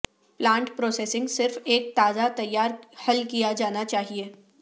plant processing صرف ایک تازہ تیار حل کیا جانا چاہئے